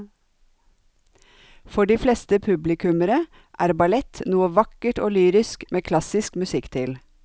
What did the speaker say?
For de fleste publikummere er ballett noe vakkert og lyrisk med klassisk musikk til.